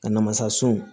A namasa sun